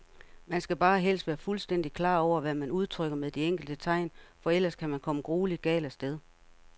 Man skal bare helst være fuldstændigt klar over, hvad man udtrykker med de enkelte tegn, for ellers kan man komme grueligt galt af sted.